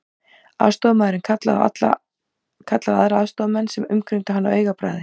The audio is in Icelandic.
Aðstoðarmaðurinn kallaði á aðra aðstoðarmenn sem umkringdu hann á augabragði.